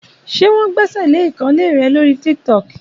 Ṣé wọn gbèsèlé ìkànnlé rẹ lórí Tíktọ̀kí?